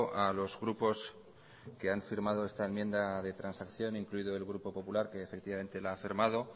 a los grupos que han firmado esta enmienda de transacción incluido el grupo popular que efectivamente la ha firmado